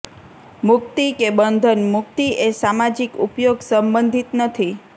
મુક્તિ કે બંધન મુક્તિ એ સામાજિક ઉપયોગ સંબંધિત નથી